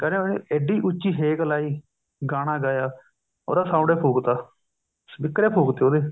ਕਹਿੰਦੇ ਉਹਨੇ ਐਢੀ ਉੱਚੀ ਹੇਕ ਲਾਈ ਗਾਣਾ ਗਾਇਆ ਉਹਦਾ sound ਹੀ ਫੂਕਤਾ ਸਪੀਕਰ ਹੀ ਫੂਕ ਤੇ ਉਹਦੇ